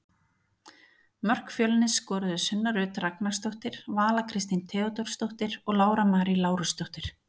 Mörk Fjölnis skoruðu Sunna Rut Ragnarsdóttir, Vala Kristín Theódórsdóttir og Lára Marý Lárusdóttir.